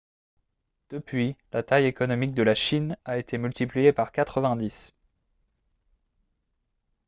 depuis la taille économique de la chine a été multipliée par 90